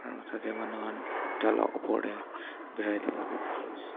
Aro tatey manu khan taila opor dae berai thaka toh dekhe ase.